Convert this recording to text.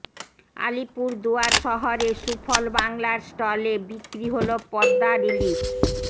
আলিপুরদুয়ার শহরে সুফল বাংলার স্টলে বিক্রি হল পদ্মার ইলিশ